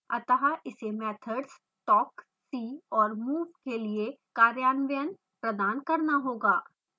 अत: इसे methods talk see और move के लिए कार्यान्वयन प्रदान करना होगा